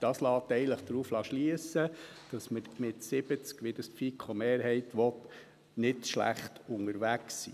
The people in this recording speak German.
Das lässt eigentlich darauf schliessen, dass wir mit 70 – wie es die FiKo-Mehrheit will – nicht schlecht unterwegs sind.